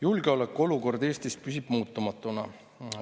Julgeolekuolukord Eestis püsib muutumatuna.